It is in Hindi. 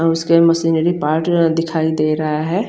अब उसे मुह्ह से दिखाई दे रहा है।